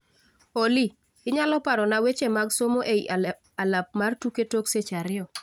Olly, inyalo parona weche mag somo ei alap mar tuke tok seche ariyo